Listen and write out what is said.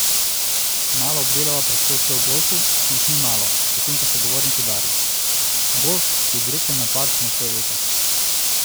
Malo obdelava predsodke o golfu, ki jih ni malo, potem pa sogovornik udari: 'Golf je direkten napad na tvoj ego.